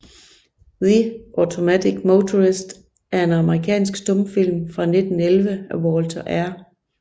The Automatic Motorist er en amerikansk stumfilm fra 1911 af Walter R